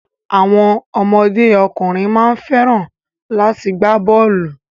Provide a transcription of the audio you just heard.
Àwọn ọmọdé ọkùnrin má ń fẹ́ràn láti gbá bọ́ọ̀lù.